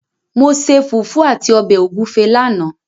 Mo ṣe fùfú àti ọbẹ̀ ògúfẹ lánàá.